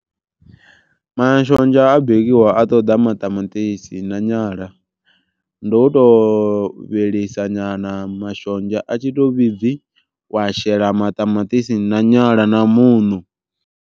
Mashonzha a bikiwa a ṱoḓa maṱamaṱisi na nyala ndo to vhilisa nyana mashonzha a tshi to vhibvi, wa shela maṱamaṱisi na nyala na muṋo.